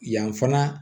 Yan fana